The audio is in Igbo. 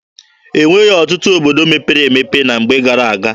E nweghị ọtụtụ obodo mepere emepe na mgbe gara-aga.